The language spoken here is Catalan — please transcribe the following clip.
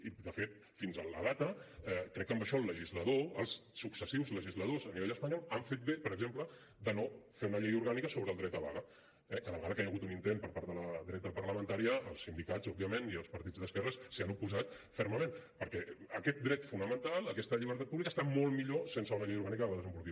i de fet fins a la data crec que amb això el legislador els successius legisladors a nivell espanyol han fet bé per exemple de no fer una llei orgànica sobre el dret a vaga eh cada vegada que hi ha hagut un intent per part de la dreta parlamentària els sindicats òbviament i els partits d’esquerres s’hi han oposat fermament perquè aquest dret fonamental aquesta llibertat pública està molt millor sense una llei orgànica que la desenvolupi